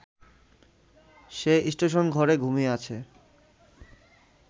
সে স্টেশনঘরে ঘুমিয়ে আছে